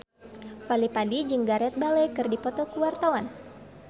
Fadly Padi jeung Gareth Bale keur dipoto ku wartawan